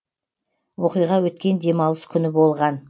оқиға өткен демалыс күні болған